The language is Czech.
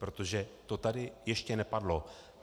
Protože to tady ještě nepadlo.